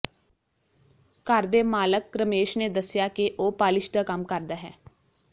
ਘਰ ਦੇ ਮਾਲਕ ਰਮੇਸ਼ ਨੇ ਦੱਸਿਆ ਕਿ ਉਹ ਪਾਲਿਸ਼ ਦਾ ਕੰਮ ਕਰਦਾ ਹੈ